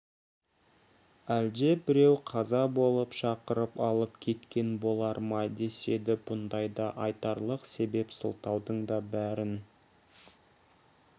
әлде біреу қаза болып шақырып алып кеткен болар ма деседі бұндайда айтарлық себеп сылтаудың да бәрін